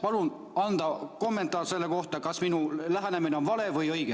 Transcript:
Palun anda kommentaar selle kohta, kas minu lähenemine on vale või õige.